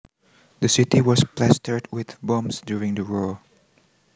The city was plastered with bombs during the war